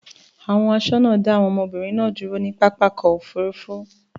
Àwọn aṣọ́nà dá àwọn ọmọbìnrin náà dúró ní pápá ọkọ̀-òfurufú.